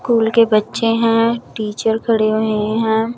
Cool के बच्चे हैं टीचर खड़े हुए हैं।